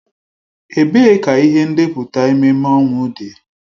Ebee ka ihe ndepụta ememme ọnwụ dị?